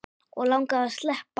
Og langaði að sleppa.